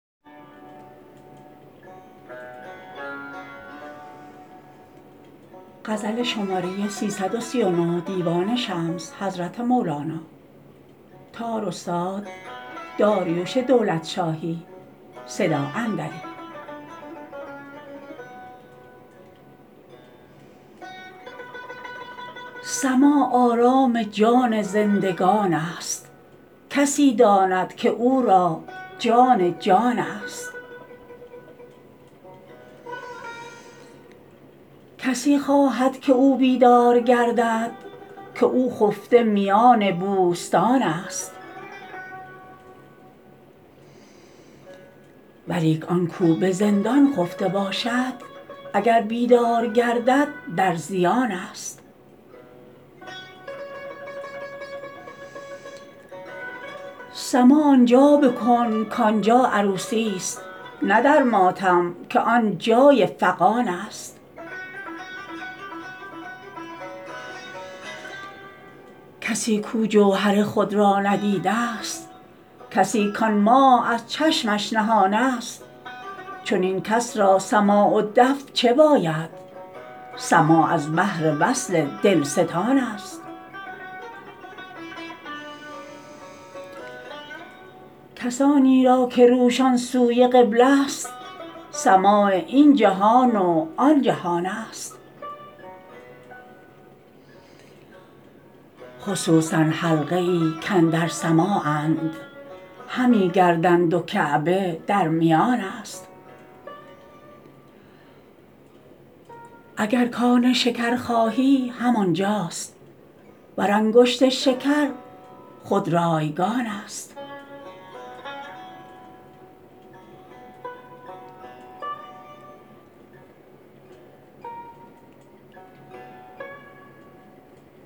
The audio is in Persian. سماع آرام جان زندگان ست کسی داند که او را جان جان ست کسی خواهد که او بیدار گردد که او خفته میان بوستان ست ولیک آن کاو به زندان خفته باشد اگر بیدار گردد در زیان ست سماع آن جا بکن کآن جا عروسی ست نه در ماتم که آن جای فغان ست کسی کاو جوهر خود را ندیده ست کسی کآن ماه از چشمش نهان ست چنین کس را سماع و دف چه باید سماع از بهر وصل دلستان ست کسانی را که روشان سوی قبله ست سماع این جهان و آن جهان ست خصوصا حلقه ای کاندر سماعند همی گردند و کعبه در میان ست اگر کآن شکر خواهی همان جاست ور انگشت شکر خود رایگان ست